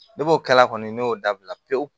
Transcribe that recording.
O kɛla kɔni ne y'o dabila pewu